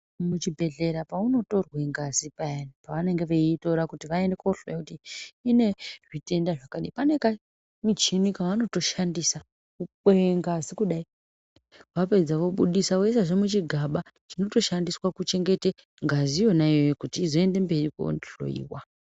Muchibhedhlera peunotorwa ngazi payani, pevanenge veitora kuti vaende voohloya kuti ine zvitenda zvakadini. Pane kamuchini kevanotoshandisa kukweya ngazi kudai, vapedza vobudisa voisazve muchigaba chinotoshandiswa kuchengete ngazi yona iyoyo kuti izoende mberi koohloiwa.